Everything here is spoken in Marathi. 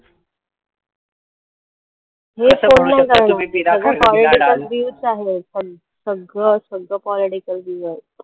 सगळं political views आहे, पण सगळं सगळं political views आहे.